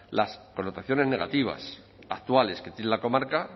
las connotaciones negativas actuales que tiene la comarca